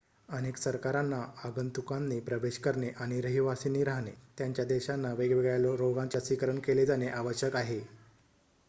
अनेक सरकारांना आगंतुकांनी प्रवेश करणे किंवा रहिवासींनी राहणे त्यांच्या देशांना वेगवेगळ्या रोगांचे लसीकरण केले जाणे आवश्यक आहे